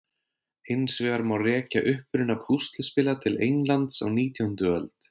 Hins vegar má rekja uppruna púsluspila til Englands á nítjándu öld.